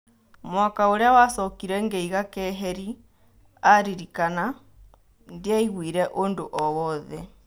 " Mwaka ũrĩa wacokire ngĩiga keheri," araririkana, "ndiaiguire ũndũ o-wothe.